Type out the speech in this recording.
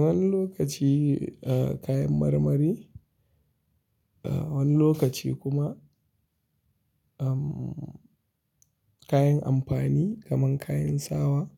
Wani lokaci, eh, kayan marmari, eh, wani lokaci kuma, am, kayan amfani kamar kayan sawa,